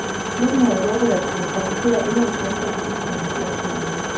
Klubben havde håbet at kunne præsentere endnu en svensker på isen om små to uger.